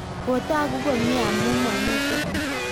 kotogu komye amu mamito